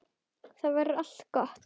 Þá verður allt gott.